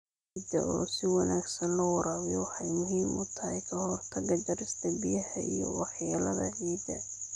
Ciidda oo si wanaagsan loo waraabiyo waxay muhiim u tahay ka hortagga jarista biyaha iyo waxyeelada ciidda.